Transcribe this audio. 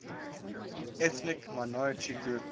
ethnic minority groups